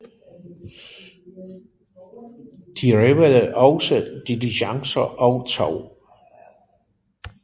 De røvede også diligencer og tog